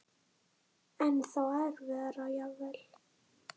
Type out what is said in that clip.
Ennþá erfiðara jafnvel?